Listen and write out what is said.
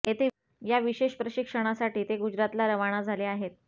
या विशेष प्रशिक्षणासाठी ते गुजरातला रवाना झाले आहेत